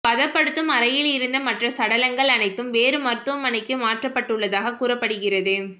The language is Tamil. பதப்படுத்தும் அறையிலிருந்த மற்ற சடலங்கள் அனைத்தும் வேறு மருத்துவமனைக்கு மாற்றப்பட்டுள்ளதாக கூறப்படுகிறது